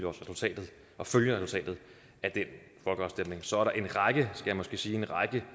resultatet og følger resultatet af den folkeafstemning så er der en række det skal jeg måske sige